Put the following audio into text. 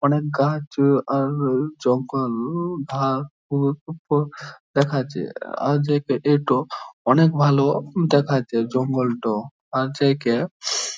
অনেক গাছ আর জঙ্গল দেখাচ্ছে | আজ এক এটো অনেক ভালো দেখাচ্ছে জঙ্গলটো | আজ একে --